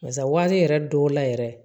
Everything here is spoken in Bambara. Barisa wari yɛrɛ dɔw la yɛrɛ